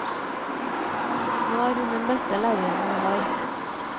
Nå er hun den beste læreren vi har.